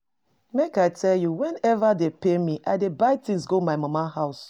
Make I tell you, whenever dey pay me, I dey buy things go my mama house